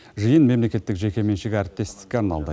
жиын мемлекеттік жекеменшік әріптестікке арналды